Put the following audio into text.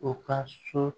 U ka so